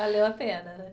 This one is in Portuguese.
Valeu a pena, né?